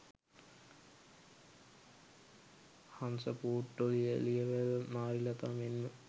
හංසපූට්ටු ලියවැල් නාරිලතා මෙන්ම